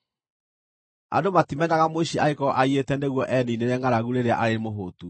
Andũ matimenaga mũici angĩkorwo aiyĩte nĩguo eniinĩre ngʼaragu rĩrĩa arĩ mũhũũtu.